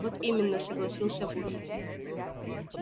вот именно согласился вуд